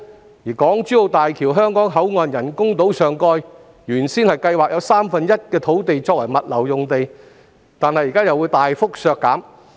此外，港珠澳大橋香港口岸的人工島上蓋原本有三分之一土地計劃用作物流用地，但現在又會大幅削減相關面積。